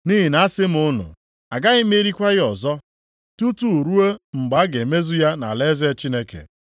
Nʼihi na asị m unu, agaghị m erikwa ya ọzọ tutu ruo mgbe a ga-emezu ya nʼalaeze Chineke.”